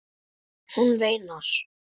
Hún veinar.